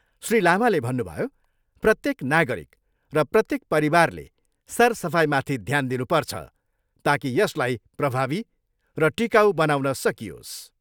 श्री लामाले भन्नुभयो प्रत्येक नागरिक र प्रत्येक परिवारले सरसफाइमाथि ध्यान दिनुपर्छ ताकि यसलाई प्रभावी र टिकाउ बनाउन सकियोस्।